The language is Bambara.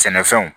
Sɛnɛfɛnw